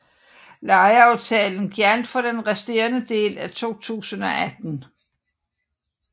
Lejeaftalen gjaldt for den resterende del af 2018